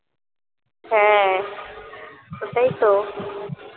হ্যাঁ সেটাই তো